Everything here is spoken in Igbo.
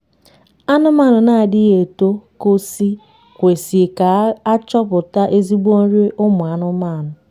anụmanụ na adighi eto kosi kwesị ga achọkwa ezigbo nri ụmụ anụmanụ